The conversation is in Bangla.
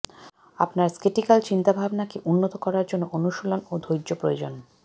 আপনার স্কেটিকাল চিন্তাভাবনাকে উন্নত করার জন্য অনুশীলন ও ধৈর্য প্রয়োজন